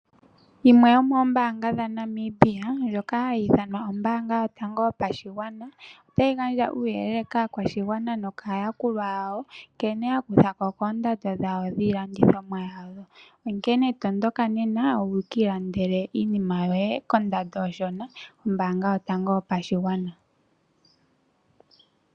Yimwe yomoombaanga dhaNamibia ndjoka hayi ithanwa ombaanga yotango yopashigwana otayi gandja uuyelele kaakwashigwana mokaayakulwa yawo, nkene ya kutha ko koondando dhawo dhiilandithomwa yawo. Onkene tondoka nena wukiilandele iinima yoye kondando onshona kombaanga yotango yopashigwana.